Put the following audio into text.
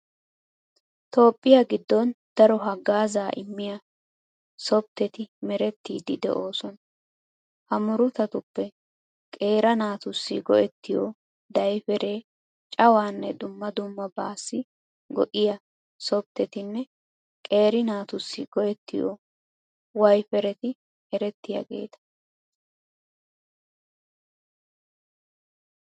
Toophphiya giddon daro haggaazaa immiya softteti merettiiddi de'oosona. Ha murutatuppe qeera naatussi go"ettiyo daypperee, cawaanne dumma dummabaassi go"iya softtetinne qeera naatussi go"ettiyo wayppereti erettiyageeta.